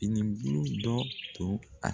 I ni dɔ don a.